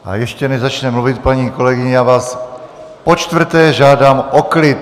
A ještě než začne mluvit paní kolegyně, já vás počtvrté žádám o klid!